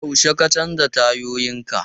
Yaushe ka canza tayoyinka?